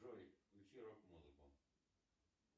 джой включи рок музыку